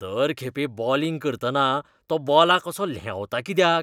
दर खेपे बोलिंग करतना तो बॉलाक असो ल्हेंवता कित्याक?